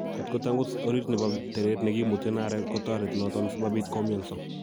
kot ko tangus oriit nebo tereet nekemuten areek kotoreti noton simabiit koumianso.